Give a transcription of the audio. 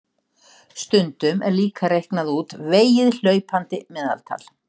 Stundum er líka reiknað út vegið hlaupandi meðaltal.